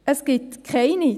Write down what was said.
– Es gibt keine.